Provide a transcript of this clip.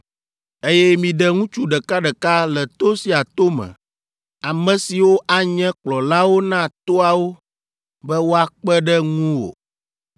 Eye miɖe ŋutsu ɖekaɖeka le to sia to me, ame siwo anye kplɔlawo na toawo be woakpe ɖe ŋuwò.